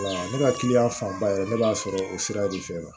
Ne ka fanba yɛrɛ ne b'a sɔrɔ o sira de fɛ